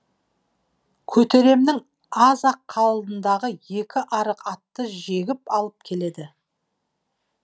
көтеремнің аз ақ алдындағы екі арық атты жегіп алып келді